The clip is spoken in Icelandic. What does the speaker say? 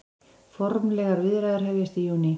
Formlegar viðræður hefjast í júní